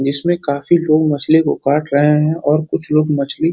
जिसमें काफी लोग मछली को काट रहे है और कुछ लोग मछली --